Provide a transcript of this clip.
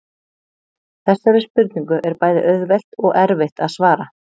Þessari spurningu er bæði auðvelt og erfitt að svara.